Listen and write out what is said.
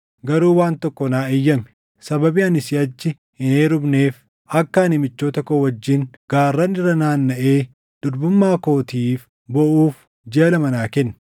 Garuu waan tokko naa eeyyami; sababii ani siʼachi hin heerumneef akka ani michoota koo wajjin gaarran irra naannaʼee durbummaa kootiif booʼuuf jiʼa lama naa kenni.”